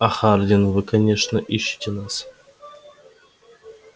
а хардин вы конечно ищете нас